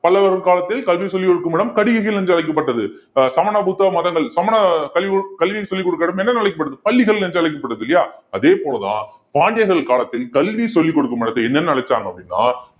பல்லவர் காலத்தில் கல்வி சொல்லி கொடுக்கும் இடம் கடிகைகள் என்று அழைக்கப்பட்டது ஆஹ் சமண புத்த மதங்கள் சமண கல்வி கல்வின்னு சொல்லிக் கொடுக்க இடம் என்ன அழைக்கப்படுது பள்ளிகள் என்று அழைக்கப்படுது இல்லையா அதே போலதான் பாண்டியர்கள் காலத்தில் கல்வி சொல்லிக் கொடுக்கும் இடத்தை என்னென்னு அழைச்சாங்க அப்படின்னா